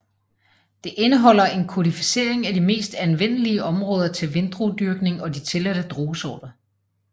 Det indeholder en kodificering af de mest anvendelige områder til vindruedyrkning og de tilladte druesorter